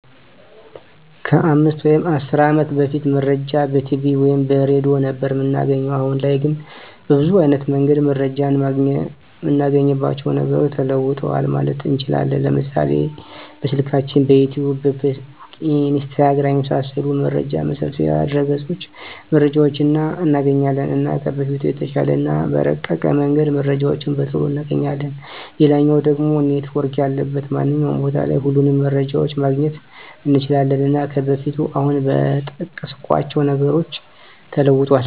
ከ 5 ወይም 10 አመት በፊት መረጃን በቲቪ ወይም በሬድዮ ነበር እምናገኘዉ። አሁን ላይ ግን በብዙ አይነት መንገድ መረጃን እምናገኝባቸዉ ነገሮች ተለዉጠዋል ማለት እንችላለን፤ ለምሳሌ፦ በስልካችን፣ በዩቱዩብ፣ በፌስቡክ፣ በኢንስታግራም፣ የመሳሰሉት መረጃ መሰብሰቢያ ድረገፆች መረጃዎችን እናገኛለን። እና ከበፊቱ በተሻለ እና በረቀቀ መንገድ መረጃዎችን በቶሎ እናገኛለን፣ ሌላኛዉ ደሞ ኔትዎርክ ያለበት ማንኛዉም ቦታ ላይ ሁሉንም መረጃዎችን ማግኘት እንችላለን። እና ከበፊቱ አሁን በጠቀስኳቸዉ ነገሮች ተለዉጧል።